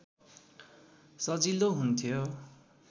सजिलो हुन्थ्यो